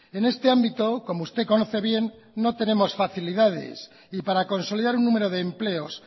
en este ámbito como usted conoce bien no tenemos facilidades y para consolidar un número de empleos